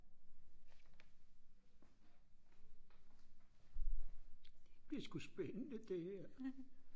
det er sgu spændende det her